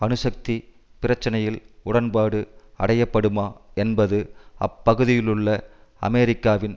அணுசக்தி பிரச்சினையில் உடன்பாடு அடையப்படுமா என்பது அப்பகுதியிலுள்ள அமெரிக்காவின்